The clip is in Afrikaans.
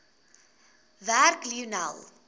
werk lionel